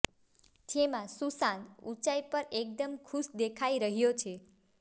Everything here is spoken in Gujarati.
જેમાં સુશાંત ઉંચાઈ પર એકદમ ખુશ દેખાઈ રહ્યા છે